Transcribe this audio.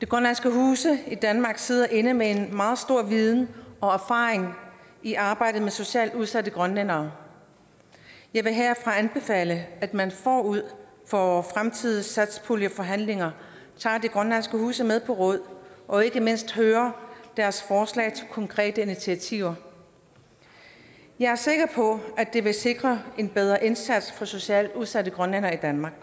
grønlandske huse i danmark sidder inde med en meget stor viden og erfaring i arbejdet med socialt udsatte grønlændere jeg vil herfra anbefale at man forud for fremtidige satspuljeforhandlinger tager de grønlandske huse med på råd og ikke mindst hører deres forslag til konkrete initiativer jeg er sikker på at det vil sikre en bedre indsats for socialt udsatte grønlændere i danmark